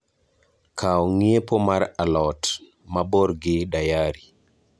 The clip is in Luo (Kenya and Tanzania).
Kao ngiepo mar alot, mabor gi dayari